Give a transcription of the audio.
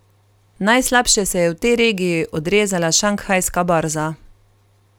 Najslabše se je v tej regiji odrezala šanghajska borza.